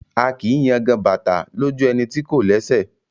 A kìí yangan bàtà lójú ẹni tí kò lẹ́sẹ̀.